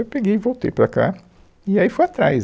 Eu peguei e voltei para cá e aí fui atrás.